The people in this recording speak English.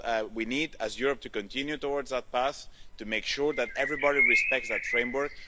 We need, as Europe, to continue towards that path, to make sure that everybody respects that framework.